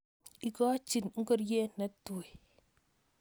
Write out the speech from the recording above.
ikochi ngoriet natui